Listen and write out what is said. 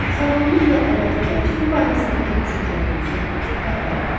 Sağlamlıq və əbədi gənclik barəsindəki düşüncələrinizi səfərbər edin.